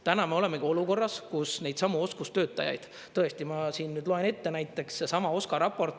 Täna me olemegi olukorras, kus neidsamu oskustöötajaid – tõesti ma siin loen ette –, näiteks seesama OSKA raport.